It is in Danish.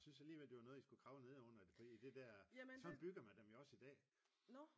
Jeg synes alligevel det var noget i skulle kravle nedenunder fordi det der fordi sådan bygger man dem jo også i dag